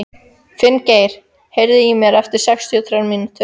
Finngeir, heyrðu í mér eftir sextíu og þrjár mínútur.